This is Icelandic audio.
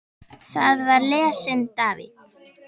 Þar var lesinn David